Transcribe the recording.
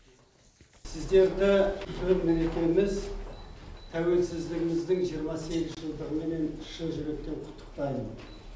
сіздерді төл мерекеміз тәуелсіздігіміздің жиырма сегіз жылдығымен шын жүректен құттықтаймын